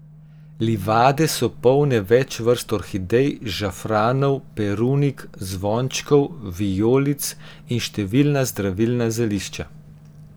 Livade so polne več vrst orhidej, žafranov, perunik, zvončkov, vijolic in številna zdravilna zelišča.